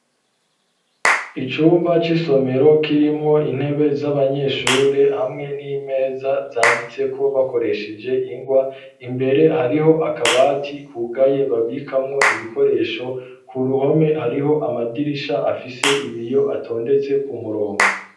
Icumba c'isomero kirimwo intebe z'abanyeshure hamwe n'imeza zanditseko bakoresheje ingwa imbere hariho akabati kugaye babikamwo ibikoresho ku ruhome hariho amadirisha afise ibiyo atondetse ku murongo.